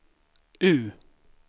U